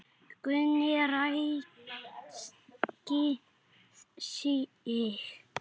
Gunni ræskti sig.